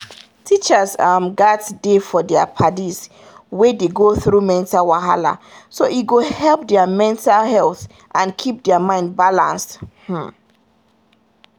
teachers um gats dey for their padis wey dey go through mental wahala so e go help their mental health and keep their mind balanced um